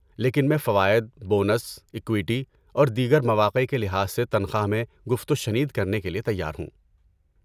لیکن میں فوائد، بونس، اکویٹی اور دیگر مواقع کے لحاظ سے تنخواہ میں گفت و شنید کرنے کے لیے تیار ہوں۔